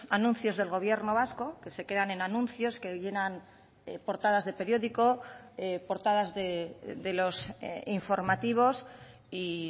anuncios del gobierno vasco que se quedan en anuncios que llenan portadas de periódico portadas de los informativos y